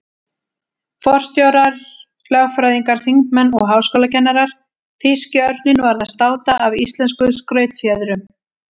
Forstjórar, lögfræðingar, þingmenn og háskólakennarar- þýski örninn varð að státa af íslenskum skrautfjöðrum.